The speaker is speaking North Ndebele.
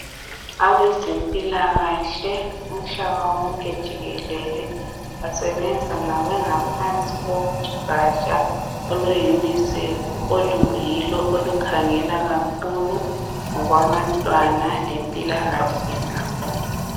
Abezempilakahle umhlaba wonke jikelele basebenza bengaphansi kogaja olwe "UNICEF" oluyilo olukhangela kakhulu ngokwabantwana lempilakahle zabo